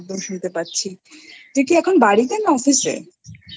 একদম শুনতে পাচ্ছি তুই কি এখন বাড়িতে না Office?